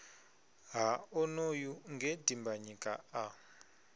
ha onoyu nge dimbanyika a